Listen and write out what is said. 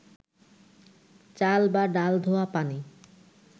চাল বা ডাল ধোয়া পানি